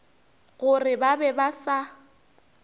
gore ba be ba sa